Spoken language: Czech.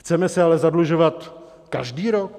Chceme se ale zadlužovat každý rok?